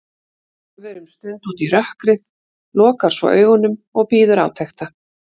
Horfir um stund út í rökkrið, lokar svo augunum og bíður átekta.